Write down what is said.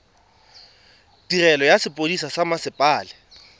tirelo ya sepodisi sa mmasepala